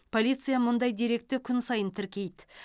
полиция мұндай деректі күн сайын тіркейді